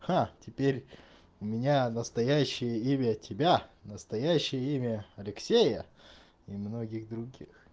ха теперь у меня настоящее имя тебя настоящее имя алексея и многих других